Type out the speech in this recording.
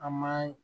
An ma